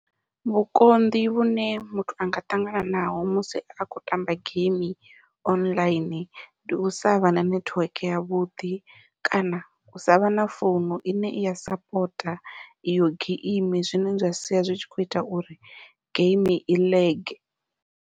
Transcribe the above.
Vhukonḓi vhune muthu anga ṱangana naho musi a khou tamba geimi online, ndi u savha na nethiweke yavhuḓi kana u savha na founu ine i ya sapota iyo geimi zwine zwa sia zwi tshi kho ita uri geimi i .